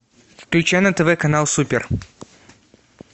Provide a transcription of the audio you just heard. включай на тв канал супер